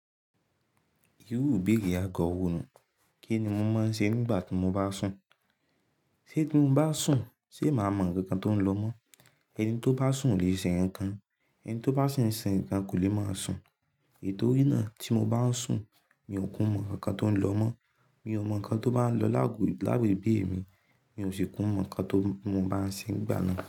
Irú ìbéèrè agọ̀wó nu, kí ni mo máa ń ṣe nígbà tí mo bá sùn? Ṣé tí mo bá sùn, ṣe màá mọ nkan nkan tó ń lọ mọ́? Ẹni tó bá sùn ò lè ṣe nkan kan. Ẹni tó bá si ń ṣe nǹkan kò lè máa sùn. Itorí náà tí mo bá ń sùn, mi ò kú mọ nkan kan tó ń lọ mọ́. Mi ò mọ nǹkan tó bá ń lọ láàgò lábẹ́ ibí mi, mi ò sì kú mọ nǹkan tó mo bá ń ṣe n gbà náà.